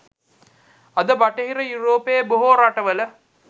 අද බටහිර යුරෝපයේ බොහෝ රටවල